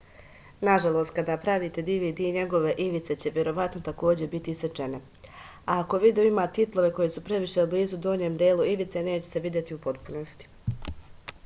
nažalost kada pravite dvd njegove ivice će verovatno takođe biti isečene a ako video ima titlove koji su previše blizu donjem delu ivice neće se videti u potpunosti